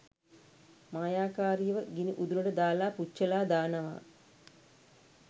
මායාකාරියව ගිණි උදුනට දාලා පුච්චලා දානවා.